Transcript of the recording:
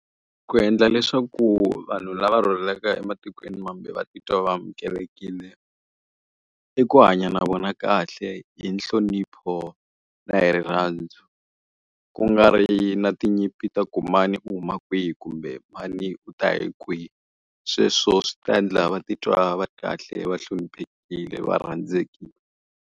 Ku endla leswaku vanhu lava rhurhelaka ematikweni mambe va titwa va amukelekile, i ku hanya na vona kahle hi nhlonipho na hi rirhandzu. Ku nga ri na tinyimpi ta ku mani u huma kwihi kumbe mani u ta hi kwihi. Sweswo swi ta endla va titwa va ri kahle va hloniphekile va rhandzekile.